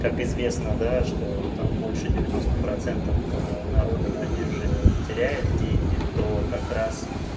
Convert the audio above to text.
как известно да что там больше девяносто процентов народа на бирже теряет деньги то как раз